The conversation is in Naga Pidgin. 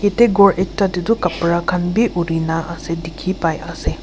ete ghor ekta teh tu kapra khan be uri na ase dikhi pai ase.